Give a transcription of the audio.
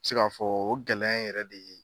N mi se ka fɔ o gɛlɛya in yɛrɛ de